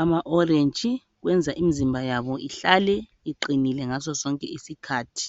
ama orange. Kwenza imizimba yabo ihlale uqinile ngaso sonke isikhathi.